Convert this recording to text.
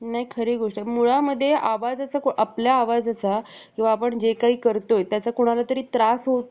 नाही खरी गोष्ट आहे मुळामध्ये आवाजाचा आपल्या आवाजाचा किंवा आपण जे काही करतोय त्याचा कोणाला तरी त्रास होतोय